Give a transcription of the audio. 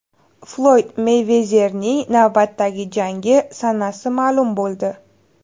Floyd Meyvezerning navbatdagi jangi sanasi ma’lum bo‘ldi.